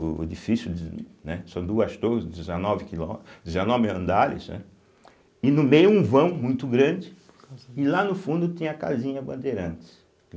O edifício, de, né, são duas torres, dezenove quilo, dezenove andares, né, e no meio um vão muito grande, e lá no fundo tem a casinha Bandeirantes.